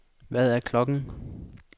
Hvad er klokken